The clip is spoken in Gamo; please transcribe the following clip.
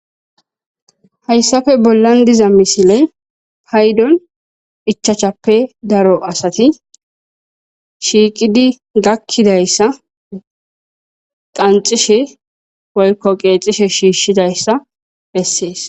Haysappe bollan diza misileyvpaydon 5 ppe daro asat shiqid gakidaysa qanxishe woyko qexiahe shishidaysa beses.